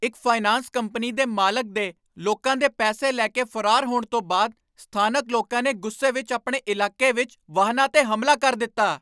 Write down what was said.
ਇੱਕ finance company ਦੇ ਮਾਲਕ ਦੇ ਲੋਕਾਂ ਦੇ ਪੈਸੇ ਲੈ ਕੇ ਫਰਾਰ ਹੋਣ ਤੋਂ ਬਾਅਦ ਸਥਾਨਕ ਲੋਕਾਂ ਨੇ ਗੁੱਸੇ ਵਿਚ ਆਪਣੇ ਇਲਾਕੇ ਵਿੱਚ ਵਾਹਨਾਂ 'ਤੇ ਹਮਲਾ ਕਰ ਦਿੱਤਾ।